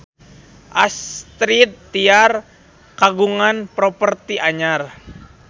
Astrid Tiar kagungan properti anyar